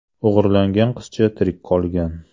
O‘g‘irlangan qizcha tirik qolgan.